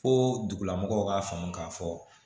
Fo dugulamɔgɔw k'a faamu k'a fɔ